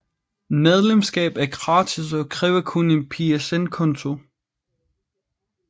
Medlemskab er gratis og kræver kun en PSN konto